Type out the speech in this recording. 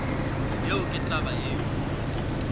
yeo ke taba yeo ke